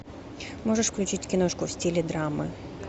можешь включить киношку в стиле драмы